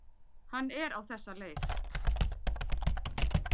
Hann er á þessa leið: